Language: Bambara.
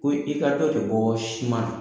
Ko i ka dɔ de bɔɔ siman na